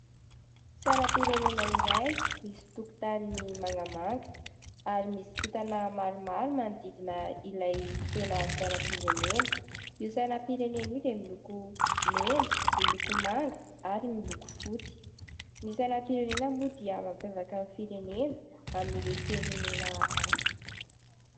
Sainam-pirenena iray misy tokotany mangamanga ary misy kitana maromaro manodidina ilay tena sainam-pirenena. Io sainam-pirenena io dia miloko mena, miloko manga ary miloko fotsy. Ny sainam-pirenena moa dia mampiavaka ny firenena amin'ireo firenena hafa.